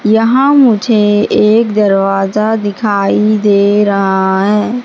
यहां मुझे एक दरवाजा दिखाई दे रहा है।